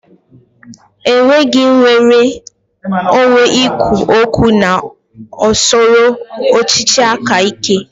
È nweghị nnwere onwe ikwu okwu na usoro ọchịchị aka ike.